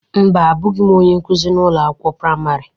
Mba, Abụghị m onye nkuzi ụlọ akwụkwọ praịmarị.